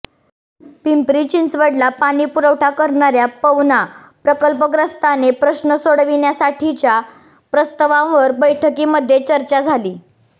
पिंपरी चिंचवडला पाणी पुरवठा करणार्या पवना प्रकल्पग्रस्तांचे प्रश्न सोडविण्यासाठीच्या प्रस्तावांवर बैठकीमध्ये चर्चा झाली